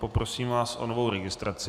Poprosím vás o novou registraci.